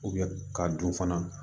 ka dun fana